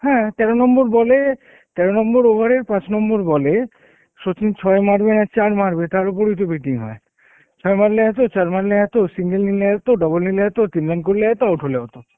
হ্যাঁ তেরো number বল এ, তেরো number over এর পাঁচ number বলে সচিন চয় মারবে না চার মারবে তার ওপর ই তো betting হয়ে, ছয় মারলে এত, চার মারলে এত, single নিলে এত, ডাবল নিলে এত, তিন run করলে এত, out হলে এত